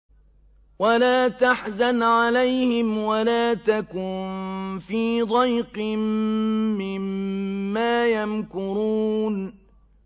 وَلَا تَحْزَنْ عَلَيْهِمْ وَلَا تَكُن فِي ضَيْقٍ مِّمَّا يَمْكُرُونَ